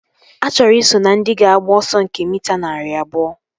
Achọrọ i so na ndị ga-agba ọsọ nke mita narị abụọ